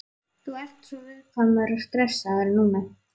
Þú ert svo viðkvæmur og stressaður núna.